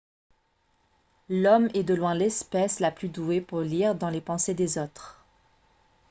l'homme est de loin l'espèce la plus douée pour lire dans les pensées des autres